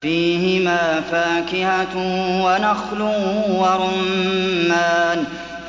فِيهِمَا فَاكِهَةٌ وَنَخْلٌ وَرُمَّانٌ